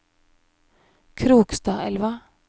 Krokstadelva